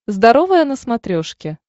здоровое на смотрешке